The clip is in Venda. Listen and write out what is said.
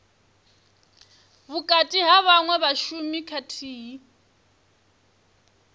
vhukati ha vhaṅwe vhashumi khathihi